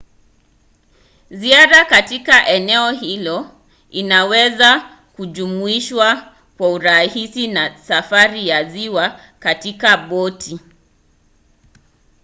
ziara katika eneo hilo inaweza kujumuishwa kwa urahisi na safari ya ziwa katika boti